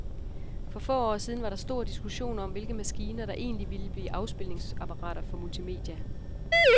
For få år siden var der stor diskussion om, hvilke maskiner, der egentlig ville blive afspilningsapparater for multimedia.